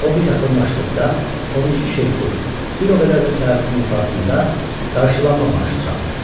O yaxınlaşdıqda 12 şeypur, bir o qədər də təbilin ifasında qarşılanma marşı çalınır.